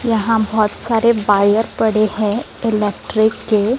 यहाँ बहोत सारे बायर पड़े है इलेक्ट्रिक के--